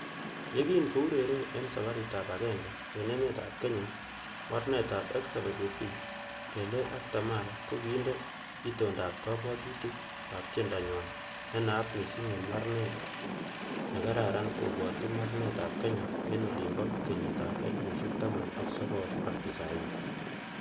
Yekin koureren en sabaritab agenge en emetab Kenya, Mornetab SWV,Lelee ak Tamar ko kinde itindob kobwotutik ak tiendonywan nenat missing en mararet nekararan koibwotu mararetab Kenya en olimbo kenyit ab elfusiek taman ak sogol ak tisaini.